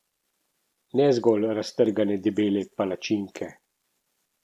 Ne zgolj raztrgane debele palačinke.